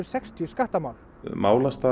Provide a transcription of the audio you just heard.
sextíu skattamál